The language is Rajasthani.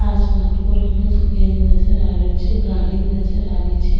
आसमान को रंग सफ़ेद नजर आ रेहो छे गाड़ी नजर आ री छे।